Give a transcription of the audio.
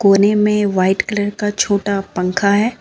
कोने में white colour का छोटा पंखा है।